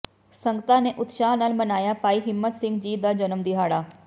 ਸੰਗਤਾਂ ਨੇ ਉਤਸ਼ਾਹ ਨਾਲ ਮਨਾਇਆ ਭਾਈ ਹਿੰਮਤ ਸਿੰਘ ਜੀ ਦਾ ਜਨਮ ਦਿਹਾੜਾ